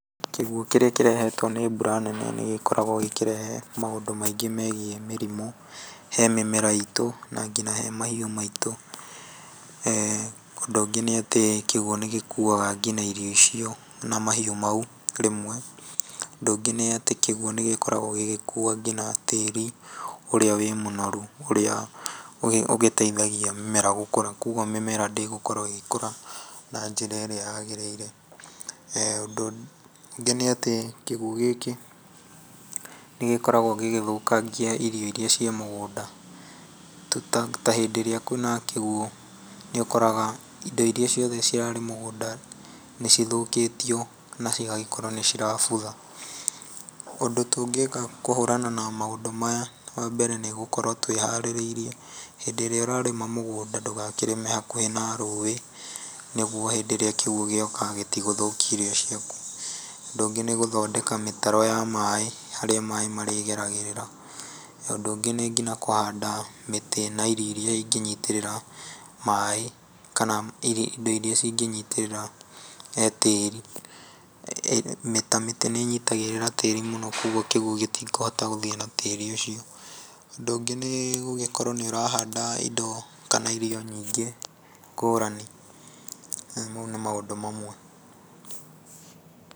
Kĩguũ kĩrĩa kĩrehetwo nĩ mbura nene nĩ gĩkoragwo gĩkĩrehe maũndũ maingĩ megiĩ mĩrimũ he mĩmera itũ na nginya he mahiũ maitũ, ũndũ ũngĩ nĩ atĩ kĩguũ nĩgĩkuaga nginya irio icio na mahiũ mau rĩmwe, ũndũ ũngĩ nĩ atĩ kĩguũ nĩgĩkoragwo gĩgĩkua nginya tĩri ũrĩa wĩ mũnoru ũrĩa ũgĩteithagia mĩmera gũgĩkũra, koguo mĩmera ndĩgũkorwo ĩgĩkũra na njĩra ĩrĩa yagĩrĩire, ũndũ ũngĩ nĩ atĩ kĩguũ gĩkĩ nĩ gĩkoragwo gĩgĩthũkangia irio irĩa ciĩ mũgũnda, ta hĩndĩ ĩrĩa kwĩ na kĩguũ nĩ ũkoraga indo ciothe irĩa cirarĩ mũgũnda, nĩ cithokĩtio na cigagĩkorwo nĩ cirabutha, ũndũ tũngĩka kũhũrana na maũndũ maya, wa mbere, nĩ gũkorwo twĩharĩrĩirie hĩndĩ ĩrĩa ũrarĩma mũgũnda ndũgakĩrĩme hakuhĩ na rũĩ, nĩguo hĩndĩ ĩrĩa kĩguũ gĩgũka gĩtigũthokia irio ciaku, ũndũ ũngĩ nĩ gũthondeka mĩtaro ya maĩ harĩa maĩ marĩgeragĩrĩra, ũndũ ũngĩ nĩ nginya kũhanda mĩtĩ na irio irĩa ingĩnyitĩrĩra maĩ, kana indo irĩa ingĩnyitĩrĩra tĩri ,ta mĩtĩ nĩ ĩnyitagĩrĩra tĩrĩ mũno, koguo kĩguũ gĩtikũhota gũthiĩ na tĩri ũcio, ũndũ ũngĩ nĩ gũgĩkorwo nĩ ũrahanda indo kana irio nyingĩ ngũrani, maũ nĩ maũndũ mamwe...